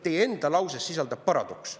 Teie enda lauses sisaldub paradoks.